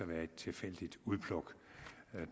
være et tilfældigt udpluk